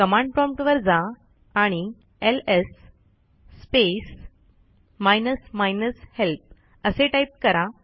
command prompt वर जा आणि LS space minus minus help असे टाईप करा